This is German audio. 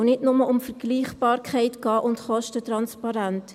Es soll nicht nur um Vergleichbarkeit gehen und um Kostentransparenz.